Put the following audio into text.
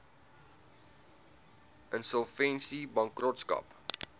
insolvensiebankrotskap